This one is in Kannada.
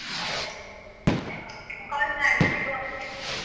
call ಮಾಡು ಸಿಗುವ ಒಮ್ಮೆ ಮತ್ತೆ.